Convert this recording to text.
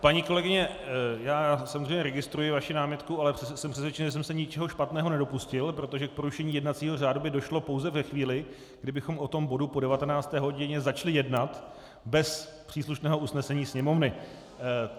Paní kolegyně, já samozřejmě registruji vaši námitku, ale jsem přesvědčený, že jsem se ničeho špatného nedopustil, protože k porušení jednacího řádu by došlo pouze ve chvíli, kdybychom o tom bodu po 19. hodině začali jednat bez příslušného usnesení Sněmovny.